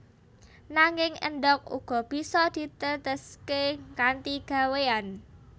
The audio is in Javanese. Nanging endhog uga bisa diteteské kanthi gawéyan